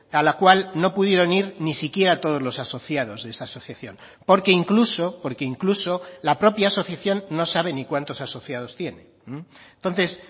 a la cual no pudieron ir ni siquiera todos los asociados de esa asociación porque incluso porque incluso la propia asociación no sabe ni cuantos asociados tiene entonces